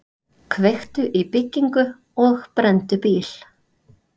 Kveiktu í byggingu og brenndu bíl